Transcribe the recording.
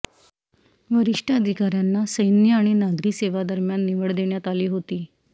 वरिष्ठ अधिकाऱ्यांना सैन्य आणि नागरी सेवा दरम्यान निवड देण्यात आली होती